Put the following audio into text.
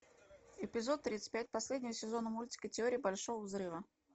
эпизод тридцать пять последнего сезона мультика теория большого взрыва